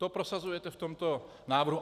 To prosazujete v tomto návrhu.